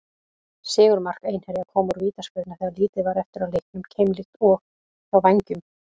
Sigurmark Einherja kom úr vítaspyrnu þegar lítið var eftir af leiknum, keimlíkt og hjá Vængjum.